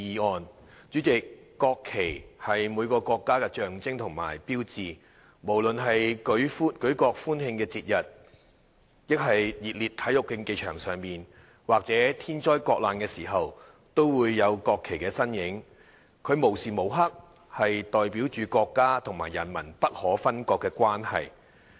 代理主席，國旗是每個國家的象徵和標誌，無論是舉國歡慶的節日，還是在熱烈的體育競技場上，或是在天災國難的時候，都會有國旗的身影，它無時無刻代表着國家和人民不可分割的關係。